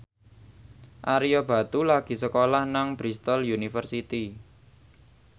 Ario Batu lagi sekolah nang Bristol university